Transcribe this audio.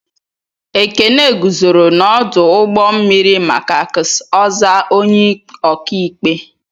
Ekene guzoro n'ọdụ ụgbọ mmiri maka ks ozaa onye ọkaikpe.